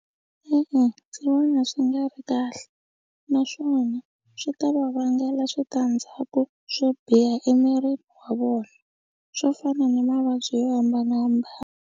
E-e, ndzi vona swi nga ri kahle naswona swi ta va vangela switandzhaku swo biha emirini wa vona swo fana na mavabyi yo hambanahambana.